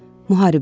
Müharibədir.